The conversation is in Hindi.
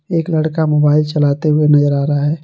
एक लड़का मोबाइल चलाते हुए नजर आ रहा है।